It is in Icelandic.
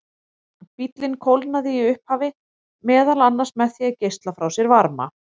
Bíllinn kólnaði í upphafi meðal annars með því að geisla frá sér varma.